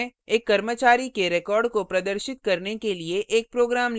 नियतकार्य के रूप में एक कर्मचारी के records को प्रदर्शित करने के लिए एक program लिखें